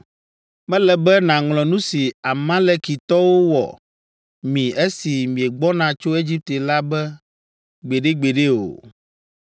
“Mele be nàŋlɔ nu si Amalekitɔwo wɔ mi esi miegbɔna tso Egipte la be gbeɖegbeɖe o.